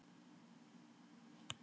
Veggirnir voru veðraðir og gráleitir.